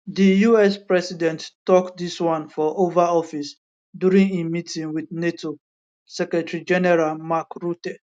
di us president tok dis one for oval office during im meeting wit nato secretarygeneral mark rutte